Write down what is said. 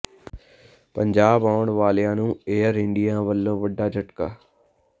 ਪੰਜਾਬ ਆਉਣ ਵਾਲਿਆਂ ਨੂੰ ਏਅਰ ਇੰਡੀਆ ਵਲੋਂ ਵੱਡਾ ਝਟਕਾ